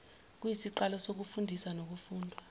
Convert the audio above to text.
kuyisiqalo sokufundiswa nokufundwa